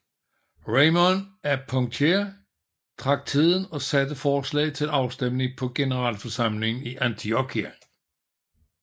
Raymond af Poitiers trak tiden og satte forslaget til afstemning på generalforsamlingen i Antiokia